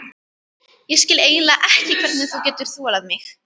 Ég skil eiginlega ekki hvernig þú getur þolað mig.